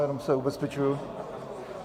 Jenom se ubezpečuji.